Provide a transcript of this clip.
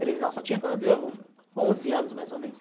Televisão só tinha quando eu onze anos, mais ou menos.